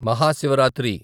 Mahashivratri